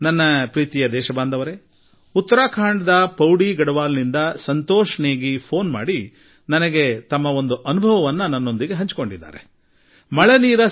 ನನ್ನ ಒಲ್ಮೆಯ ದೇಶವಾಸಿಗಳೇ ಉತ್ತರಾಖಂಡ್ ನ ಪೌಡಿಗಡವಾಲ್ ನ ಸಂತೋಷ್ ನೇಗೀ ಜೀ ತಮ್ಮ ಅನುಭವ ಹಂಚಿಕೊಳ್ಳಲು ಫೋನ್ ಕರೆ ಮಾಡಿದ್ದರು